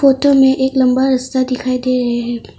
Photo में एक लंबा रास्ता दिखाई दे रहे हैं।